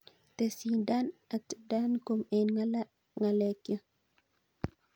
Tesyin Dan at dancom en ngalekyuk